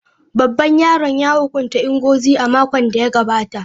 Babban yaron ya hukunta Ngozi a makon da ya gabata.